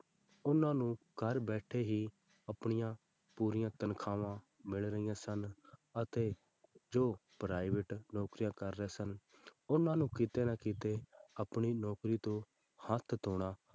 ਉਹਨਾਂ ਨੂੰ ਘਰ ਬੈਠੇ ਹੀ ਆਪਣੀਆਂ ਪੂਰੀਆਂ ਤਨਖਾਹਾਂ ਮਿਲ ਰਹੀਆਂ ਸਨ ਅਤੇ ਜੋ private ਨੌਕਰੀਆਂ ਕਰ ਰਹੇ ਸਨ ਉਹਨਾਂ ਨੂੰ ਕਿਤੇ ਨਾ ਕਿਤੇ ਆਪਣੀ ਨੌਕਰੀ ਤੋਂ ਹੱਥ ਧੌਣਾ,